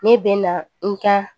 Ne bɛ na n ka